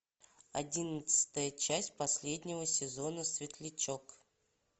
одиннадцатая часть последнего сезона светлячок